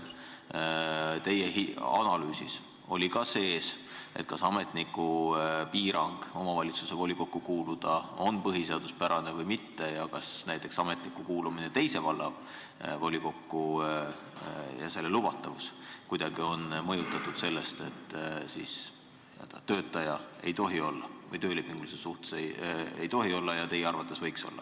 Teie analüüsis oli see ka sees, et kas ametniku omavalitsuse volikokku kuulumise piirang on põhiseaduspärane või mitte ning kas näiteks ametniku kuulumine teise valla volikokku ja selle lubatavus on kuidagi mõjutatud sellest, et töölepingulises suhtes ei tohi olla, kuigi teie arvates võiks olla.